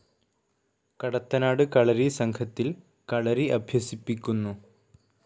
കടത്തനാട് കളരി സംഘത്തിൽ കളരി അഭ്യസിപ്പിക്കുന്നു.